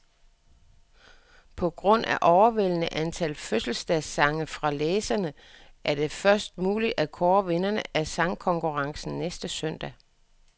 På grund af overvældende antal fødselsdagssange fra læserne, er det først muligt at kåre vinderne af sangkonkurrencen næste søndag.